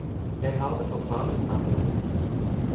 Jeg har det for travelt med andre ting.